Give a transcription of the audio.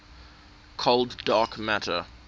cold dark matter